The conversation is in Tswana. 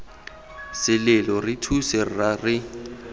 selelo re thuse rra re